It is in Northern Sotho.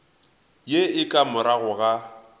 ye e ka morago ga